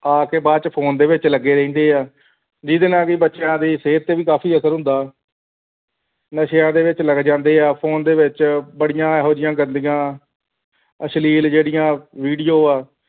ਆਖ ਕੇ ਬਾਅਦ phone ਦੇ ਵਿੱਚ ਲੱਗੇ ਰਹਿੰਦੇ ਹੈ ਜਿਹਦੇ ਨਾਲ ਹੀ ਬੱਚਿਆਂ ਦੀ ਸਿਹਤ ਤੇ ਵੀ ਬੜਾ ਅਸਰ ਹੁੰਦਾ ਨਸ਼ਿਆਂ ਦੇ ਵਿੱਚ ਲੱਗ ਜਾਂਦੇ ਹੈ phone ਦੇ ਵਿੱਚ ਬੜੀਆਂ ਇਹੋ ਜਿਹੀਆਂ ਗੰਦੀਆਂ ਅਸ਼ਲੀਲ ਜੁੜੀਆਂ video ਹੈ